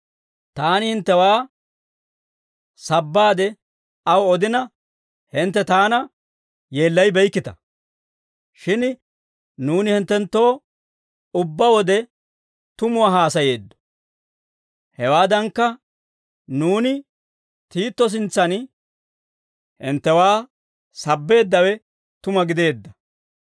Taani hinttewaa sabbaade aw odina, hintte taana yeellayibeykkita; shin nuuni hinttenttoo ubbaa wode tumuwaa haasayeeddo; hewaadankka, nuuni Tiito sintsan hinttewaa sabbeeddawe tuma gideedda.